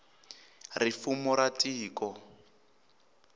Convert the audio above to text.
ri fumo ra tiko